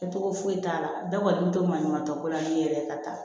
Kɛcogo foyi t'a la bɛɛ kɔni bɛ to maɲumantɔ ko laɲini yɛrɛ ye ka taa